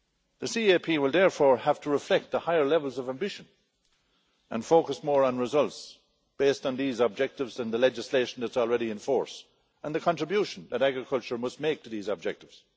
The CAP will therefore have to reflect the higher levels of ambition and focus more on results, based on these objectives and the legislation that is already in force and the contribution that agriculture must make to these objectives.